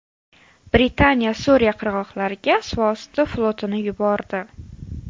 Britaniya Suriya qirg‘oqlariga suvosti flotini yubordi.